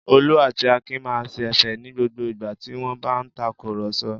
Olú àti Akin máa ṣẹ̀fẹ̀ ní gbogbo ìgbà tí wọ́n bá ń takùrọ̀sọ.